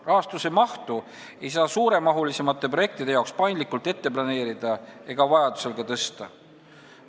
Rahastuse mahtu ei saa suuremamahuliste projektide jaoks paindlikult ette planeerida ega vajadusel ka tõsta.